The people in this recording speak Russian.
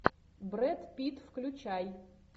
брэд питт включай